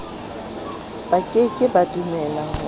ba ke ke ba dumelahore